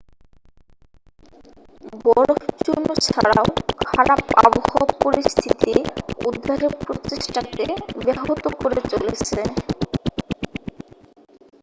বরফ চূর্ণ ছাড়াও খারাপ আবহাওয়া পরিস্থিতি উদ্ধারের প্রচেষ্টাকে ব্যাহত করে চলেছে